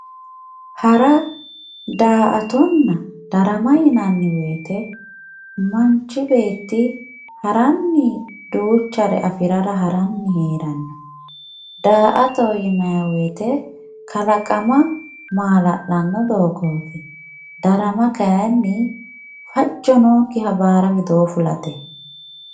hara daa"atonna darama yinanniwoyiite manch beetti haranni duuchare afirara haranni heeranno daa"toho yinayiwoyiite kalaqama maala'lanno doogooti darama kayiinni fajjo nookkiha baara widoo fulate.